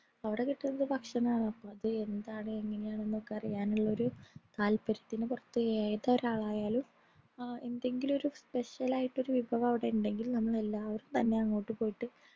അവിടെ കിട്ടുന്ന ഭക്ഷണമാണ് അപ്പൊ അത് എന്താണ് എങ്ങനെയാണ് എന്നൊക്കെ അറിയാനുള്ളൊരു താത്പര്യത്തിന്റെ പുറത്തു ഏതൊരാളായാലും ആ എന്തെങ്കിലുമൊരു special ആയിട്ടുള്ള ഒരു വിഭവം അവിടെ ഇണ്ടെങ്കിൽ നമ്മൾ എല്ലാവരും തന്നെ അവിടെ പോയിട്ട്